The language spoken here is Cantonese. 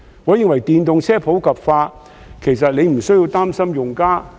我認為電動車普及化，其實局長不需要擔心用家。